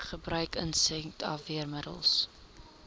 gebruik insek afweermiddels